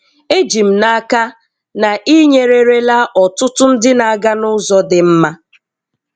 Èjì m n’akà na ị̀ nyerèrèla ọ̀tụ̀tụ̀ ndị̀ na-aga n’ụ̀zọ̀ dị̀ mmà.